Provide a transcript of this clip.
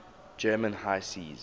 german high seas